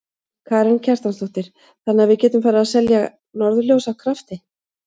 Karen Kjartansdóttir: Þannig að við getum farið að selja norðurljós af krafti?